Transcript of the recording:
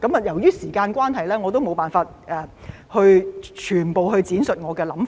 由於時間關係，我沒有辦法闡述我的全部想法。